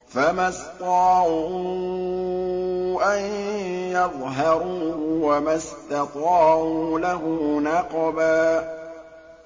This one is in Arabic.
فَمَا اسْطَاعُوا أَن يَظْهَرُوهُ وَمَا اسْتَطَاعُوا لَهُ نَقْبًا